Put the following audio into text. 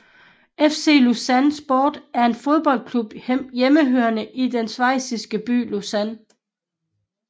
FC Lausanne Sport er en fodboldklub hjemmehørende i den schweisiske by Lausanne